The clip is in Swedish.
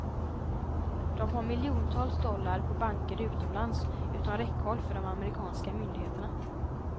De har miljontals dollar på banker utomlands utom räckhåll för de amerikanska myndigheterna.